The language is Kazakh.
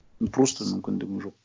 ну просто мүмкіндігің жоқ